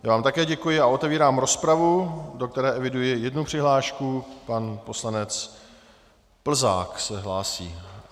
Já vám také děkuji a otevírám rozpravu, do které eviduji jednu přihlášku: pan poslanec Plzák se hlásí.